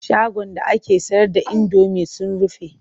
Shagon da ake sayar da indomi sun rufe.